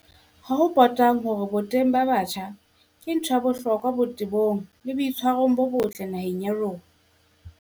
Ha ho potang hore boteng ba batjha ke ntho ya bohlokwa botebong le boitshwarong bo botle naheng ya rona.